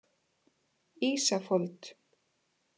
Ísafold